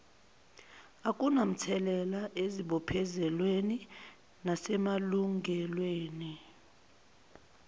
akunamthelela ezibophezelweni nasemalungelweni